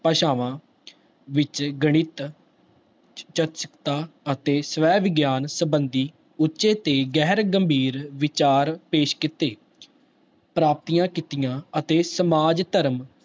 ਭਾਸ਼ਾਵਾਂ ਵਿੱਚ ਗਣਿਤ ਅਤੇ ਸਵੈ ਵਿਗਿਆਨ ਸੰਬੰਧੀ ਉੱਚੇ ਤੇ ਗਹਿਰ ਗੰਭੀਰ ਵਿਚਾਰ ਪੇਸ ਕੀਤੇ ਪ੍ਰਾਪਤੀਆਂ ਕੀਤੀਆਂ ਅਤੇ ਸਮਾਜ, ਧਰਮ,